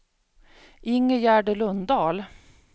Ingegärd Lundahl